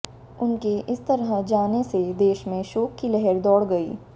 उनके इस तरह जाने से देश में शोक की लहर दौड़ गई